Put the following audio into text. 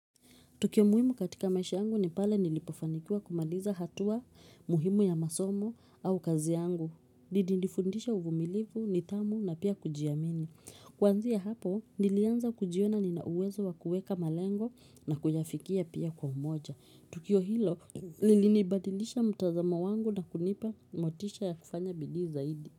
Tukio muhimu katika maisha yangu ni pale nilipofanikiwa kumaliza hatua muhimu ya masomo au kazi yangu. Didi nifundisha uvumilivu, nitamu na pia kujiamini. Kwanzia hapo, nilianza kujiona nina uwezo wa kuweka malengo na kuyafikia pia kwa umoja. Tukio hilo, nilinibadilisha mtazamo wangu na kunipa motisha ya kufanya bidii zaidi.